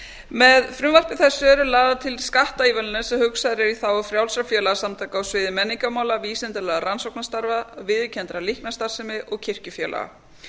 með frumvarpi þessu eru lagðar til skattaívilnanir sem hugsaðar eru í þágu frjálsra félagasamtaka á sviði menningarmála vísindalegra rannsóknastarfa viðurkenndrar líknarstarfsemi og kirkjufélaga